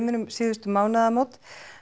um síðustu mánaðamót